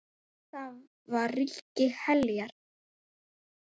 Þar var ríki Heljar.